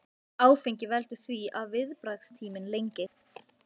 Í sterkustu vindhviðunum berast skýin frá sólinni svo hún blindar.